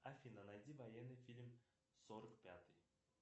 афина найди военный фильм сорок пятый